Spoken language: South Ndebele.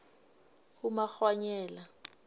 umakghwanyela